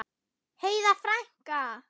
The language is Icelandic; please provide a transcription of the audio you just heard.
Heiða frænka!